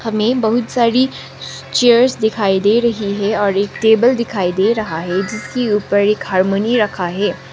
हमें बहुत सारी चेयर्स दिखाई दे रही है और एक टेबल दिखाई दे रहा है जिसके ऊपर एक हार्मनी रखा है।